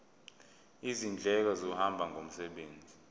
izindleko zokuhamba ngomsebenzi